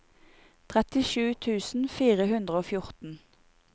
trettisju tusen fire hundre og fjorten